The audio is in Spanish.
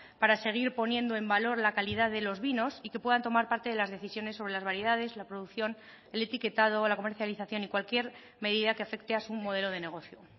para seguir poniendo en valor la calidad de los vinos y que puedan tomar parte de las decisiones sobre las variedades la producción el etiquetado o la comercialización y cualquier medida que afecte a su modelo de negocio